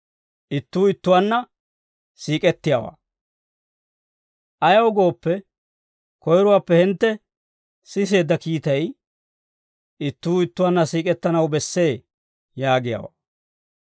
Ayaw gooppe, koyiruwaappe hintte siseedda kiitay, «Ittuu ittuwaanna siik'ettanaw bessee» yaagiyaawaa.